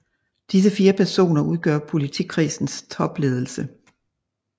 Disse 4 personer udgør politikredsens topledelse